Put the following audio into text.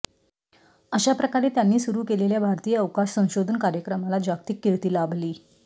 अशाप्रकारे त्यांनी सुरू केलेल्या भारतीय अवकाश संशोधन कार्यक्रमाला जागतिक कीर्ती लाभली